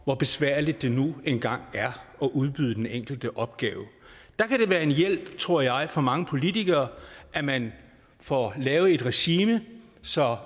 hvor besværligt det nu engang er at udbyde den enkelte opgave der kan det være en hjælp tror jeg for mange politikere at man får lavet et regime så